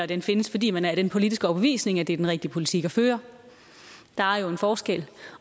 den findes fordi man er af den politiske overbevisning at det er den rigtige politik at føre der er jo en forskel